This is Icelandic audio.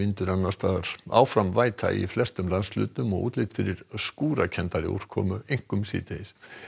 annars staðar áfram væta í flestum landshlutum og útlit fyrir skúrakenndari úrkomu einkum síðdegis